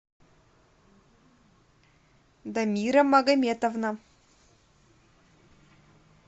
дамира магометовна